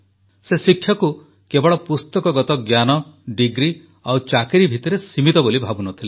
ସେ ଶିକ୍ଷାକୁ କେବଳ ପୁସ୍ତକଗତ ଜ୍ଞାନ ଡିଗ୍ରୀ ଆଉ ଚାକିରି ଭିତରେ ସୀମିତ ବୋଲି ଭାବୁନଥିଲେ